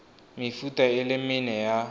mefuta e le mene ya